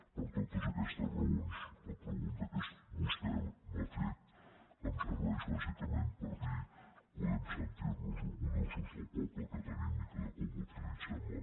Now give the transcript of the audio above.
per totes aquestes raons la pregunta que vostè m’ha fet em serveix bàsicament per dir podem sentir nos orgullosos del poble que tenim i de com utilitzem la nostra llengua